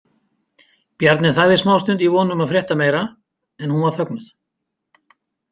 Bjarni þagði smástund í von um að frétta meira en hún var þögnuð.